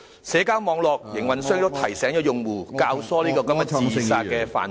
社交網絡營運商亦提醒用戶，教唆這個自殺犯罪......